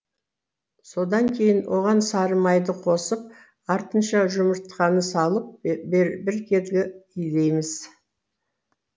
содан кейін оған сары майды қосып артынша жұмыртқаны салып біркелкі илейміз